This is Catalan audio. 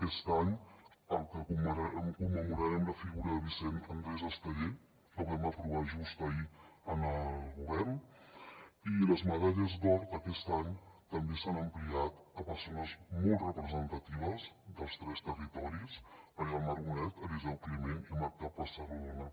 aquest any commemorarem la figura de vicent andrés estellés que vam aprovar just ahir al govern i les medalles d’or d’aquest any també s’han ampliat a persones molt representatives dels tres territoris maria del mar bonet eliseu climent i marta pessarrodona